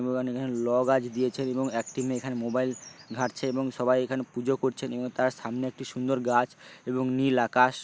এবং এখানে ল গাছ দিয়েছে এবং একটি মেয়ে এখানে মোবাইল ঘাঁটছে এবং সবাই এখানে পুজো করছেন এবং তার সামনে একটি সুন্দর গাছ এবং নীল আকাশ।